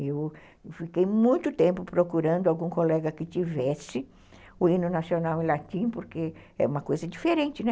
Eu fiquei muito tempo procurando algum colega que tivesse o hino nacional em latim, porque é uma coisa diferente, né?